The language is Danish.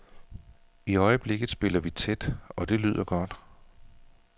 I øjeblikket spiller vi tæt, og det lyder godt.